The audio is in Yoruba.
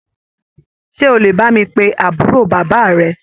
Ṣe o lè bá mi pe àbúrò bàbá rẹ?